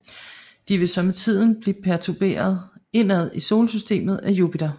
De vil så med tiden blive pertuberet indad i solsystemet af Jupiter